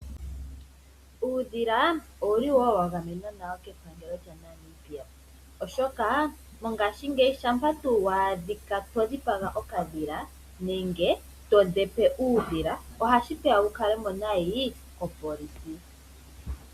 Uundhila owuli woo wa gamenwa nawo kepangelo lyaNamibia oshoka mongashingeyi shampa tuu wa a dhikwa to dhipaga okadhila nenge todhepe uudhila ohashi peya wu kale mo nayi kopolisi.